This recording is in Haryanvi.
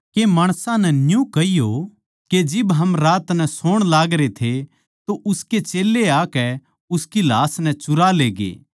के माणसां नै न्यू कहियो के जिब हम रात नै सोण लागरे थे तो उसके चेल्लें आकै उसकी लाश नै चुरा लेगे